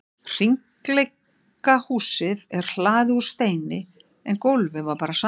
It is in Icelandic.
Hringleikahúsið er hlaðið úr steini en gólfið var bara sandur.